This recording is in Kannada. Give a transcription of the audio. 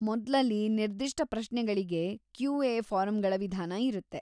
ಮೊದ್ಲಲ್ಲಿ ನಿರ್ದಿಷ್ಟ ಪ್ರಶ್ನೆಗಳಿಗೆ ಕ್ಯೂ.ಎ. ಫಾರಂಗಳ ವಿಧಾನ ಇರುತ್ತೆ.